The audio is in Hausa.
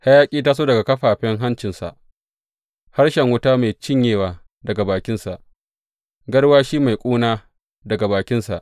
Hayaƙi ya taso daga kafaffen hancinsa; harshen wuta mai cinyewa daga bakinsa, garwashi mai ƙuna daga bakinsa.